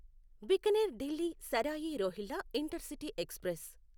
Bikaner Delhi Sarai Rohilla intercity express